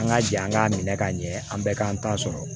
An ka jɛ an k'a minɛ k'a ɲɛ an bɛɛ k'an ta sɔrɔ